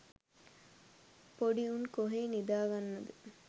පොඩි උන් කොහේ නිදාගන්නද